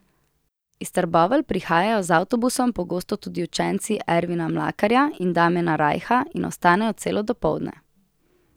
Iz Trbovelj prihajajo z avtobusom pogosto tudi učenci Ervina Mlakarja in Damjana Rajha in ostanejo celo dopoldne.